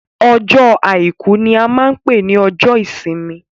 Ọjọ́ àìkú ní a máa n pé ní ọjọ́ ìsinmi.